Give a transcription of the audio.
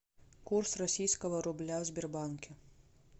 курс российского рубля в сбербанке